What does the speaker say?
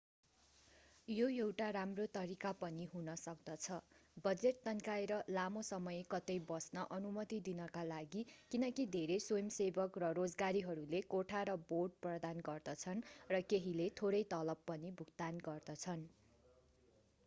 यो एउटा राम्रो तरिका पनि हुन सक्दछ बजेट तन्काएर लामो समय कतै बस्न अनुमति दिनका लागि किनकि धेरै स्वयंसेवक रोजगारीहरूले कोठा र बोर्ड प्रदान गर्दछन् र केहीले थोरै तलब पनि भुक्तान गर्दछन्